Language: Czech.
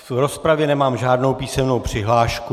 Do rozpravy nemám žádnou písemnou přihlášku.